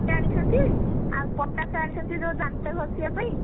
ଆଣିଛନ୍ତି ଆଉ patash ଆଣିଛନ୍ତି ଦାନ୍ତ ଘଷିବା ପାଇଁ